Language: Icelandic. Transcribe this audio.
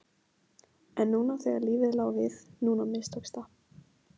En núna þegar lífið lá við, núna mistókst það!